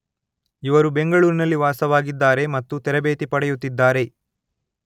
ಇವರು ಬೆಂಗಳೂರಿನಲ್ಲಿ ವಾಸವಾಗಿದ್ದಾರೆ ಮತ್ತು ತರಬೇತಿಪಡೆಯುತ್ತಿದ್ದಾರೆ.